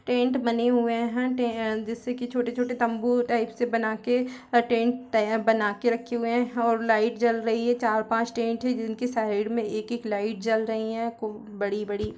tent बने हुए है टे जिससे कि छोटे-छोटे तम्बू टाइप के बना के टेंट बना की रखे हुए है और लाइट जल रही हैं चार-पांच टेंट है जिन की साइड में एक एक लाइट जल रही हैं बड़ी-बड़ी--